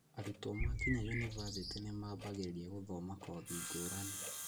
Arutwo makinya yunibathĩtĩ nĩmambagĩrĩria gũthoma kothi ngũũrani